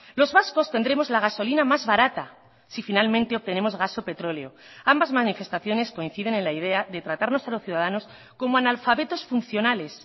los vascos tendremos la gasolina más barata si finalmente obtenemos gasopetroleo ambas manifestaciones coinciden en la idea de tratarnos a los ciudadanos como analfabetos funcionales